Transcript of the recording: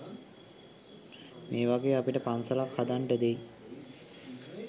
මේවගේ අපිට පන්සලක් හදන්ඩ දෙයි